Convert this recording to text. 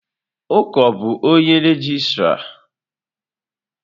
Uko bu onye regịstrá?